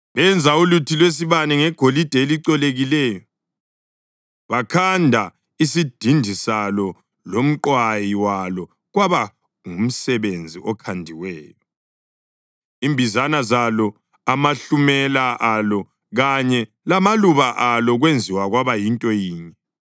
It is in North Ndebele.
Benza uluthi lwesibane ngegolide elicolekileyo, bakhanda isidindi salo lomqwayi walo kwaba ngumsebenzi okhandiweyo, imbizana zalo, amahlumela alo kanye lamaluba alo kwenziwa kwaba yinto yinye.